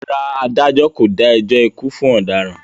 Rárá, adájọ́ kò dá ẹjọ́ ikú fún ọ̀daràn.